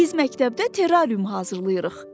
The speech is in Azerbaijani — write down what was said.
Biz məktəbdə terrarium hazırlayırıq.